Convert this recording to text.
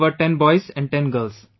We were 10 boys & 10 girls